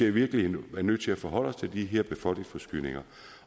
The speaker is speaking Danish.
i virkeligheden nødt til at forholde os til de her befolkningsforskydninger